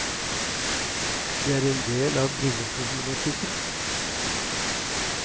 Det er en del av brilleproblematikken.